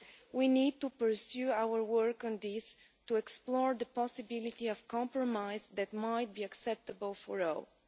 We need to pursue our work on this to explore the possibility of a compromise that might be acceptable for